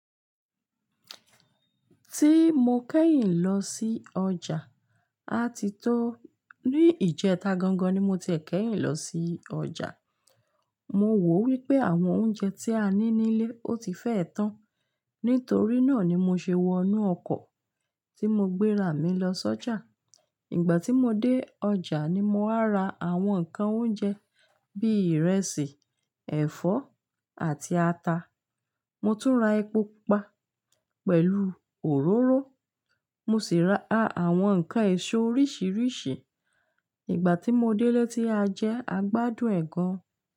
Ti mo kẹ́yìn lọ sí ọjà, a ti tó. Ní ìjẹta gangan ni mo ti kẹ́yìn lọ sí ọjà. Mo wò wí pé àwọn oúnjẹ tí a ní ní ilé, ó ti fẹ́ tán. Nítorí náà ni mo ṣe wọ inú ọkọ̀ tí mo gbéra mi lọ sọ́jà. Ìgbà tí mo dé ọjà ni mo má wa ra àwọn nǹkan oúnjẹ bí i ìrẹsì, ẹ̀fọ́ àti ata. Mo tún ra epo pupa pẹ̀lú òróró. Mo sì ra àwọn nǹkan èso oríṣiríṣi. Ìgbà tí mo délé tí a jẹ, a gbádùn ẹ́ gan-an.